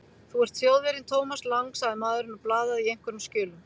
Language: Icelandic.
Þú ert Þjóðverjinn Thomas Lang sagði maðurinn og blaðaði í einhverjum skjölum.